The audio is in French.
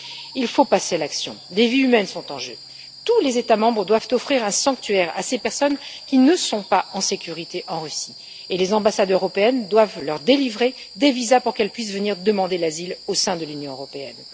Il faut passer à l'acte, des vies humaines sont en jeu. Tous les États membres doivent offrir un sanctuaire à ces personnes qui ne sont pas en sécurité en Russie et les ambassades européennes doivent leur délivrer des visas pour qu'elles puissent venir demander l'asile au sein de l'Union européenne.